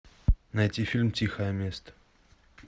найти фильм тихое место